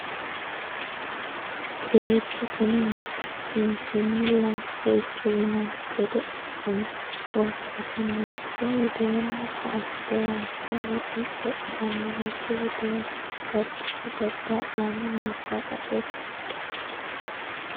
Beettu kuni mitu kinchinni lame ceicho yinanni gede assino worbaho ,mitto widooni koatte hayishshe woxe codhano mitto widooni daddalo dadda'lanni no shaqaxe kadhe.